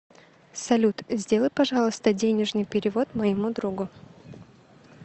салют сделай пожалуйста денежный перевод моему другу